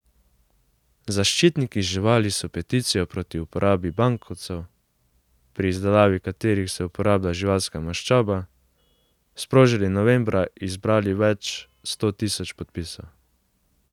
Zaščitniki živali so peticijo proti uporabi bankovcev, pri izdelavi katerih se uporablja živalska maščoba, sprožili novembra in zbrali več sto tisoč podpisov.